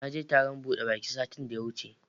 Naje taron buɗe baki satin da ya wuce.